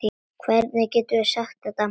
Hvernig geturðu sagt þetta?